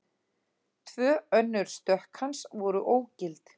Tvö önnur stökk hans voru ógild